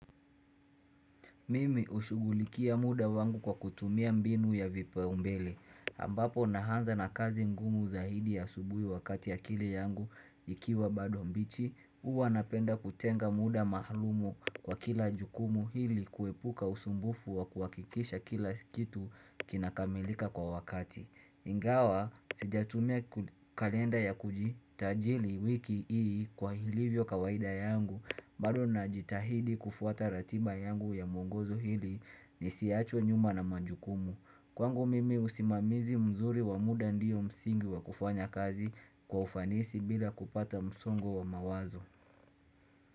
Mimi hushugulikhia muda wangu kwa kutumia mbinu ya vipaumbele. Ambapo nahanza na kazi ngumu zaidi asubuhi wakati akili yangu ikiwa bado mbichi. Uwa napenda kutenga muda mahalum kwa kila jukumu hili kuepuka usumbufu wa kuhakikisha kila kitu kinakamilika kwa wakati. Ingawa sijatumia kalenda ya kujitajili wiki hii kwa hilivyo kawaida yangu bado najitahidi kufuata ratiba yangu ya mwongozo ili nisiachwe nyuma na majukumu. Kwangu mimi usimamizi mzuri wa muda ndio msingi wa kufanya kazi kwa ufanisi bila kupata msongo wa mawazo.